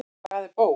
Hvað er bók?